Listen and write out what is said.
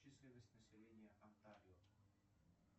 численность населения онтарио